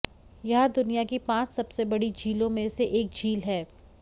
यहां दुनिया की पांच सबसे बड़ी झीलों में से एक झील है